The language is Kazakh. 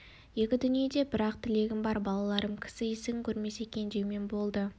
екі дүниеде бір-ақ тілегім бар балаларым кісі есігін кермесе екен деумен болды